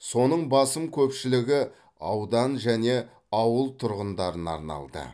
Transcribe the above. соның басым көпшілігі аудан және ауыл тұрғындарына арналды